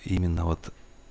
именно вот